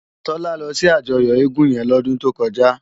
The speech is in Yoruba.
Tola lò si àjòyò égùn yèn lòdùn tókòjá